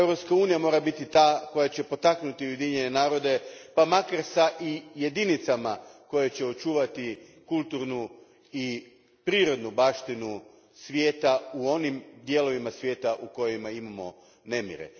Europska unija mora biti ta koja će potaknuti Ujedinjene narode pa makar s jedinicama koje će očuvati kulturnu i prirodnu baštinu svijeta u onim dijelovima svijeta u kojima imamo nemire.